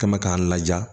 Kɛ mɛ k'an laja